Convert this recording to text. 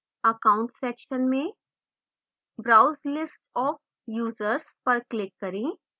accounts section में browse list of users पर click करें